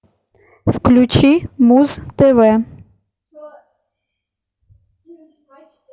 включи муз тв